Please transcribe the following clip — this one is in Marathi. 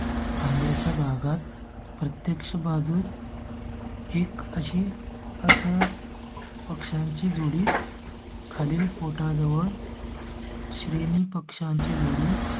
खांद्या च्या भागात प्रत्यक्ष भाजून. एक आजी असं पक्ष्यांची जोडी. खाली पोटा जवळ. श्रेणी पक्ष्यांची जोडी